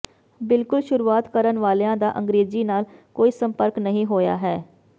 ਬਿਲਕੁਲ ਸ਼ੁਰੂਆਤ ਕਰਨ ਵਾਲਿਆਂ ਦਾ ਅੰਗ੍ਰੇਜ਼ੀ ਨਾਲ ਕੋਈ ਸੰਪਰਕ ਨਹੀਂ ਹੋਇਆ ਹੈ